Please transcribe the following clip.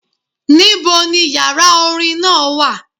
Níbo ni yàrá orin náà wà.?